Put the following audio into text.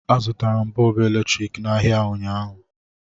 Azụtara m Bọọbụ eletrik n'ahịa ụnyaahụ